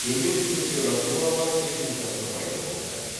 төмен температуралар техникасы пайда болды